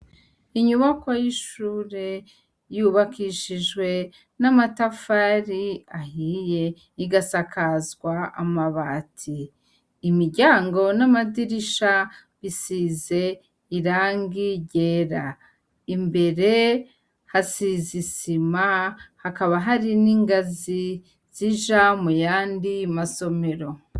Inyubako y'ishure yubakishijwe n'amatafari ahiye, igasakazwa amabati. Imiryango n'amadirisha bisize irangi ryera. Imbere hasize isima, hakaba hari n'ingazi zija mu yandi masomero.